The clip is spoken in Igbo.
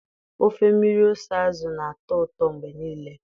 Ofe mmiri ose azụ na-atọ ụtọ mgbe niile